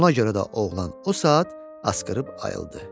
Ona görə də oğlan o saat asqırıb ayıldı.